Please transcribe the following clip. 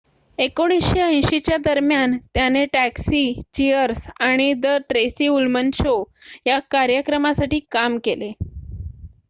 १९८० च्या दरम्यान त्याने टॅक्सी चिअर्स आणि द ट्रेसी उल्मन शो या कार्यक्रमासाठी काम केले